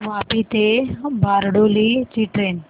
वापी ते बारडोली ची ट्रेन